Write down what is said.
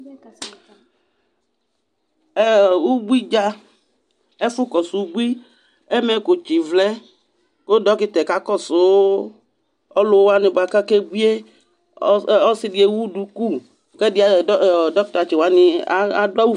Ɛ ɔ ubui dza, ɛfʋkɔsʋ ubui Ɛmɛkʋtsɩ vlɛ kʋ dɔkɩta yɛ kakɔsʋ ɔlʋ wanɩ bʋa kʋ akebui yɛ Ɔsɩ dɩ ewu duku kʋ ɛdɩ ayɔ dɔ dɔkɩtatsɩ wanɩ adʋ awʋ